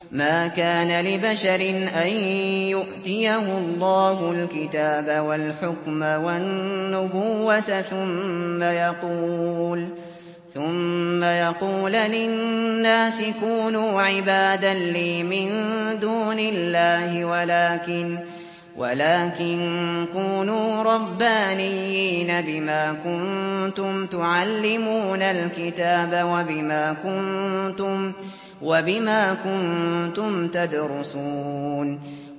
مَا كَانَ لِبَشَرٍ أَن يُؤْتِيَهُ اللَّهُ الْكِتَابَ وَالْحُكْمَ وَالنُّبُوَّةَ ثُمَّ يَقُولَ لِلنَّاسِ كُونُوا عِبَادًا لِّي مِن دُونِ اللَّهِ وَلَٰكِن كُونُوا رَبَّانِيِّينَ بِمَا كُنتُمْ تُعَلِّمُونَ الْكِتَابَ وَبِمَا كُنتُمْ تَدْرُسُونَ